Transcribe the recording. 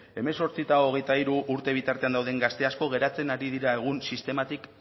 hemezortzi eta hogeita hiru urte bitartean dauden gazte asko geratzen ari dira egun sistematik